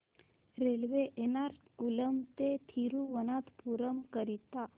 railway Ernakulam ते थिरुवनंतपुरम करीता